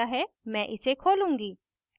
मैं इसे खोलूंगी